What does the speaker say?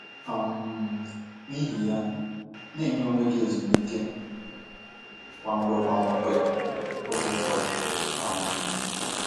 um N’ihi ya, na - enye onwe gị ezumike kwa mgbe kwa mgbe oge ụfọdụ um.